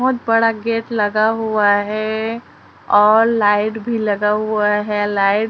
बहुत बड़ा गेट लगा हुआ है और लाइट भी लगा हुआ है। लाइट --